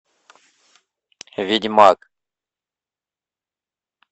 ведьмак